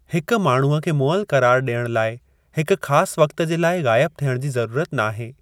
हिक माण्हूअ खे मुअलु क़रारु ॾियणु लाइ हिकु ख़ासि वक़्त जे लाइ ग़ाइब थियणु जी ज़रूरत नाहे।